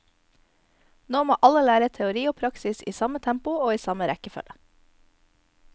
Nå må alle lære teori og praksis i samme tempo og i samme rekkefølge.